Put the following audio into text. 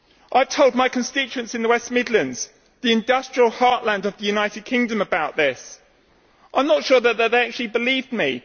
I told my constituents in the West Midlands, the industrial heartland of the United Kingdom about this. I am not sure that they actually believed me.